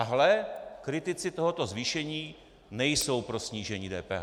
A hle - kritici tohoto zvýšení nejsou pro snížení DPH.